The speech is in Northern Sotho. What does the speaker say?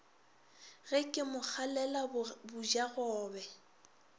ge ke mo kgalela bojagobe